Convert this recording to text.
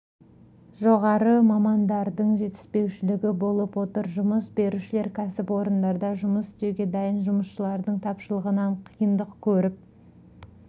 жоғары мамандардың жетіспеушілігі болып отыр жұмыс берушілер кәсіпорындарда жұмыс істеуге дайын жұмысшылардың тапшылығынан қиындық көріп